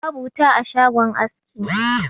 Babu wuta a shagon aski.